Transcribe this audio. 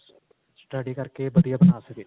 study ਕਰਕੇ ਵਧੀਆ ਬਣਾ ਸਕੇ